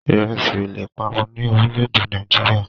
Ìrẹsí ò leè parun ní orílẹ̀-èdè Nàìjíríà.